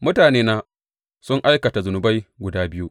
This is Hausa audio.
Mutanena sun aikata zunubai guda biyu.